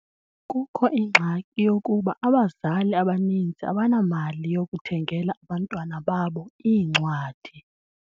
Kukho ingxaki yokuba abazali abaninzi abanamali yokuthengela abantwana babo iincwadi.